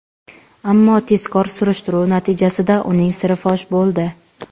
Ammo tezkor surishtiruv natijasida uning siri fosh bo‘ldi.